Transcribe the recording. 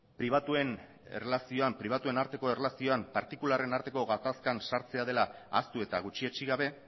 pribatuen arteko erlazioan partikularren arteko gatazkan sartzeko dela ahaztu eta gutxietsi gabe